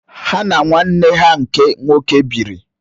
Há na nwa nwanne ha nke nwoke bíírì